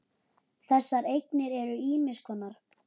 Þessar eignir eru ýmiss konar.